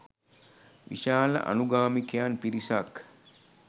විශාල අනුගාමිකයන් පිරිසක්